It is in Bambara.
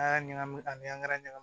An y'a ɲagami ani angɛrɛ ɲagami